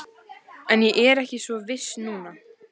En ég er ekki svo viss núna